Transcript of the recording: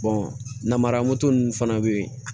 namaramuso nunnu fana bɛ yen